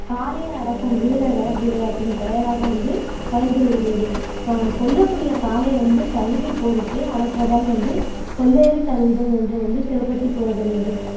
காளையை அடக்கும் வீரரை விளையாட்டின் பெயராக வந்து பயின்று வருகிறது ஆஹ் கொல்லக்கூடிய காளையை வந்து தழுவி போரிட்டு அடக்குவதால் வந்து கொல்லேறி தழுவுதல் என்று வந்து சிறப்புத்தி கூறப்படுகிறது